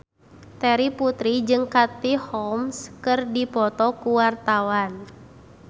Terry Putri jeung Katie Holmes keur dipoto ku wartawan